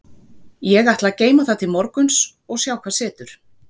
Ég ætla að geyma það til morguns og sjá hvað setur.